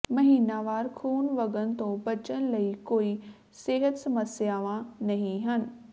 ਮਹੀਨਾਵਾਰ ਖੂਨ ਵਗਣ ਤੋਂ ਬਚਣ ਲਈ ਕੋਈ ਸਿਹਤ ਸਮੱਸਿਆਵਾਂ ਨਹੀਂ ਹਨ